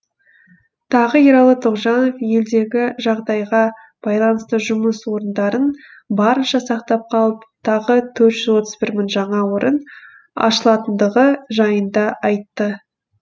тағы ералы тоғжанов елдегі жағдайға байланысты жұмыс орындарын барынша сақтап қалып тағы төрт жүз отыз бір мың жаңа орын ашылатындығы жайында айтты